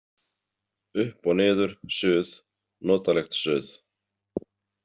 Upp og niður, suð, notalegt suð.